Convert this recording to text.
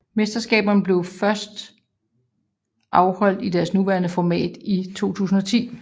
Mesterskaberne blev første gang afholdt i deres nuværende format i 2010